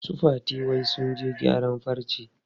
Su Fati wai sun je gyaran farce.